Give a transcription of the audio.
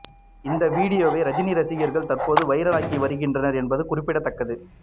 இந்த வீடியோவை ரஜினி ரசிகர்கள் தற்போது வைரலாக்கி வருகின்றனர் என்பது குறிப்பிடத்தக்கது